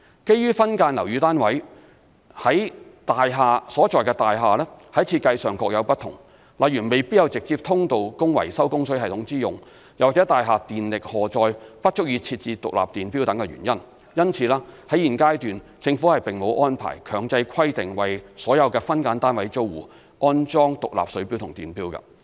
基於分間樓宇單位所在大廈在設計上各有不同，例如未必有直接通道供維修供水系統之用，又或大廈電力荷載不足以設置獨立電錶等原因，因此，在現階段政府並沒有安排強制規定為所有分間樓宇單位租戶安裝獨立水錶及電錶。